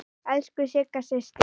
Elsku Sigga systir.